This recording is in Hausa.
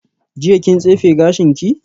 Jiya kin tsefe gashinki?